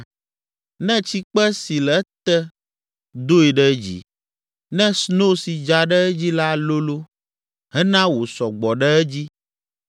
ne tsikpe si le ete doe ɖe dzi, ne sno si dza ɖe edzi la lolo hena wòsɔ gbɔ ɖe edzi